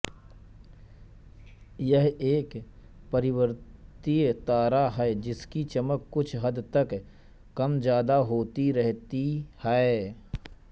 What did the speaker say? यह एक परिवर्ती तारा है जिसकी चमक कुछ हद तक कमज़्यादा होती रहती है